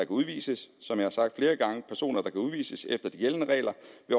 udvises som jeg har sagt flere gange vil personer der kan udvises efter de gældende regler